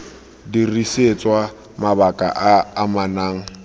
dirisetswa mabaka a a amanang